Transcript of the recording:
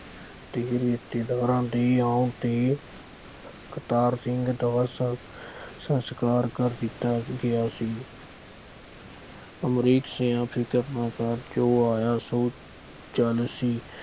ਅਤੇ ਰਿਸ਼ਤੇਦਾਰਾਂ ਦੇ ਆਉਣ ਤੇ ਕਰਤਾਰ ਸਿੰਘ ਦਾ ਸੰਸ ਸੰਸਕਾਰ ਕਰ ਦਿੱਤਾ ਗਿਆ ਸੀ। ਅਮਰੀਕ ਸਿਉਂ ਫਿਰਕ ਨਾ ਕਰ, ਜੋ ਆਇਆ ਸੋ ਜਾਣਾ ਸੀ।